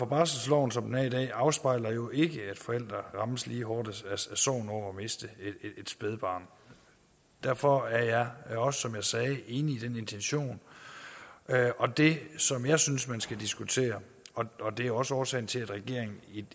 barselsloven som den er i dag afspejler jo ikke at forældre rammes lige hårdt af sorgen over at miste et spædbarn derfor er jeg også som jeg sagde enig i intentionen det som jeg synes man skal diskutere og det er også årsagen til at regeringen